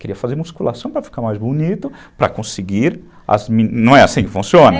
Queria fazer musculação para ficar mais bonito, para conseguir... Não é assim que funciona?